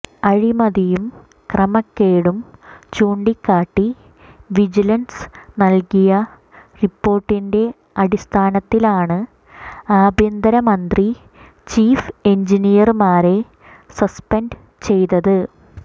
അഴിമതിയും ക്രമക്കേടും ചൂണ്ടിക്കാട്ടി വിജിലന്സ് നല്കിയ റിപ്പോര്ട്ടിന്റെ അടിസ്ഥാനത്തിലാണ് ആഭ്യന്തര മന്ത്രി ചീഫ് എഞ്ചിനീയര്മാരെ സസ്പെന്റ് ചെയ്തത്